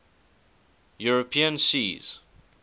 european seas